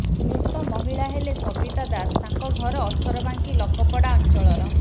ମୃତ ମହିଳା ହେଲେ ସବିତା ଦାସ ତାଙ୍କ ଘର ଅଠରବାଙ୍କୀ ଲକପଡା ଅଞ୍ଚଳର